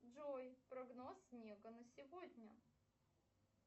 джой прогноз снега на сегодня